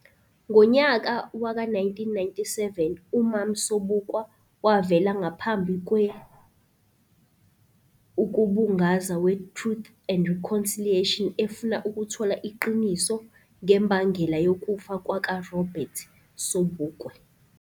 Ngonyaka waka 1997 uMam Sobukwe wavela ngaphambi kwe ukubungaza we Truth and Reconciliation efuna ukuthola iqiniso ngembangela yokufa kwaka Robert Sobukwe.